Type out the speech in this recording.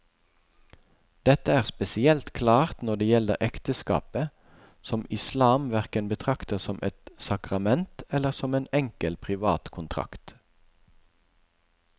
Dette er spesielt klart når det gjelder ekteskapet, som islam hverken betrakter som et sakrament eller som en enkel privat kontrakt.